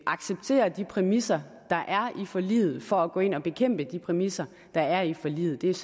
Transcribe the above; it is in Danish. acceptere de præmisser der er i forliget for at gå ind og bekæmpe de præmisser der er i forliget det er